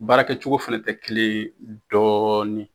Baara kɛcogo fɛnɛ tɛ kelen ye dɔɔni.